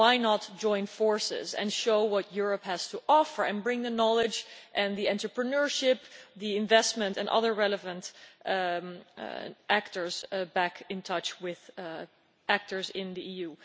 Why not join forces, show what Europe has to offer, and bring the knowledge and the entrepreneurship, the investment and other relevant actors back in touch with actors in the EU?